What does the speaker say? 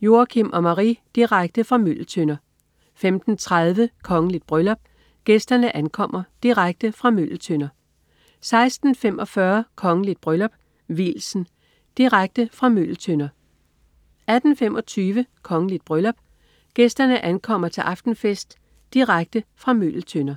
Joachim og Marie. Direkte fra Møgeltønder 15.30 Kongeligt bryllup. Gæsterne ankommer. Direkte fra Møgeltønder 16.45 Kongeligt bryllup. Vielsen. Direkte fra Møgeltønder 18.25 Kongeligt bryllup. Gæsterne ankommer til aftenfest. Direkte fra Møgeltønder